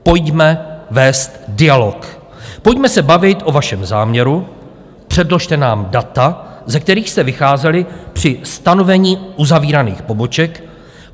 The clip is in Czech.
Pojďme vést dialog, pojďme se bavit o vašem záměru, předložte nám data, ze kterých jste vycházeli při stanovení uzavíraných poboček.